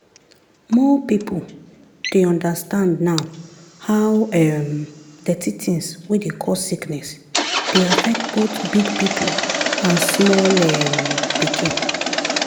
more people dey understand now how um dirty things wey dey cause sickness dey affect both big people and small um pikin.